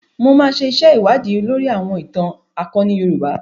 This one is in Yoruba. Mo máa ṣe iṣẹ́ ìwádìí lóri àwọn ìtàn akoni Yorùbá.